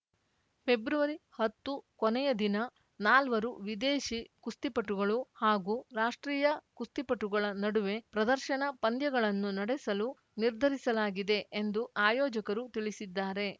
ಫೆಬ್ರವರಿಹತ್ತು ಕೊನೆಯ ದಿನ ನಾಲ್ವರು ವಿದೇಶಿ ಕುಸ್ತಿಪಟುಗಳು ಹಾಗೂ ರಾಷ್ಟ್ರೀಯ ಕುಸ್ತಿಪಟುಗಳ ನಡುವೆ ಪ್ರದರ್ಶನ ಪಂದ್ಯಗಳನ್ನು ನಡೆಸಲು ನಿರ್ಧರಿಸಲಾಗಿದೆ ಎಂದು ಆಯೋಜಕರು ತಿಳಿಸಿದ್ದಾರೆ